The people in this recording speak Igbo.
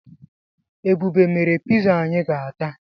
Ebube mere piza anyi ga-ata